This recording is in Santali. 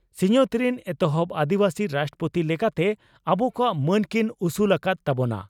ᱥᱤᱧᱚᱛ ᱨᱤᱱ ᱮᱛᱦᱚᱵ ᱟᱹᱫᱤᱵᱟᱹᱥᱤ ᱨᱟᱥᱴᱨᱚᱯᱳᱛᱤ ᱞᱮᱠᱟᱛᱮ ᱟᱵᱚ ᱠᱚᱣᱟᱜ ᱢᱟᱹᱱ ᱠᱤᱱ ᱩᱥᱩᱞ ᱟᱠᱟᱫ ᱛᱟᱵᱚᱱᱟ ᱾